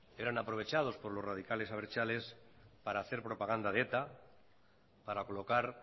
eran aprovechados por los radicales abertzales para hacer propaganda de eta para colocar